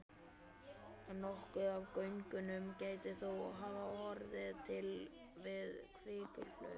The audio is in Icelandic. Nokkuð af göngunum gæti þó hafa orðið til við kvikuhlaup.